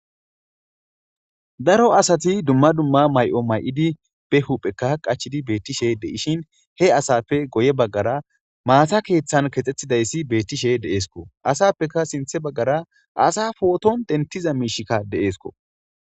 daro asati dumma dumma may7o may7idi be hupheka qachidi beettishe de7ishin he asappe goye baggara maasa keeththan kexxetidayssi bettishe deeesko asappeka sinthe baggara asa pooton dentiza miishikka deeesko